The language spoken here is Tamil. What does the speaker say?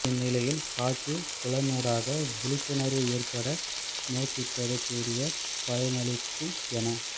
இந்நிலையில் காட்சிப் புலனூடாக விழிப்புணர்பு ஏற்பட முயற்சித்தது கூடிய பலனளிக்கும் என